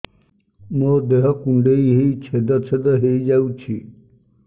ମୋ ଦେହ କୁଣ୍ଡେଇ ହେଇ ଛେଦ ଛେଦ ହେଇ ଯାଉଛି